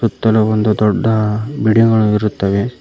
ಇತಲೂ ಒಂದು ದೊಡ್ಡ ಬಿಡಿಗಳು ಇರುತ್ತವೆ.